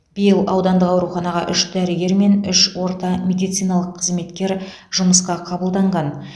биыл аудандық ауруханаға үш дәрігер мен үш орта медициналық қызметкер жұмысқа қабылданған